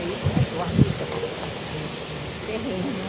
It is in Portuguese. Aí começou a luta para conseguirmos um terreno.